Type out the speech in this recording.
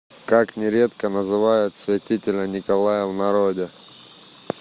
как нередко называют святителя николая в народе